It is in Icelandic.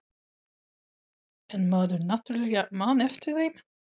En maður náttúrlega man eftir þeim.